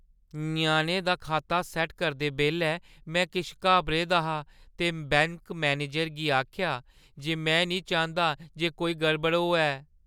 ञ्याणे दा खाता सैट्ट करदे बेल्लै में किश घाबरे दा हा ते बैंक मनेजरै ई आखेआ जे में निं चांह्दा जे कोई गड़बड़ होऐ।